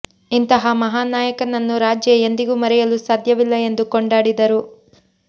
ಇಂತಹ ಮಹಾನ್ ನಾಯಕನನ್ನು ರಾಜ್ಯ ಎಂದಿಗೂ ಮರೆಯಲು ಸಾಧ್ಯವಿಲ್ಲ ಎಂದು ಕೊಂಡಾಡಿದರು